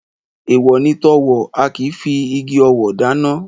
Èèwọ̀ ni tọ̣wọ̀, a kì í figi ọ̣wọ̀ dáná